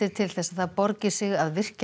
til þess að það borgi sig að virkja